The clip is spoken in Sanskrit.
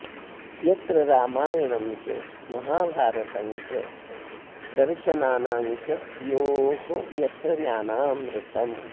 यत्र रामायणं च महाभारतं दर्शनानां च योः यत्र ज्ञानामृतम्